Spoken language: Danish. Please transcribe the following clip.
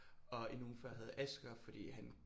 Og en uge før havde Asger fordi han